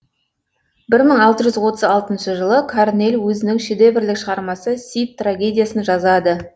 бір мың алты жүз отыз алтыншы жылы корнель өзінің шедеврлік шығармасы сид трагедиясын жазады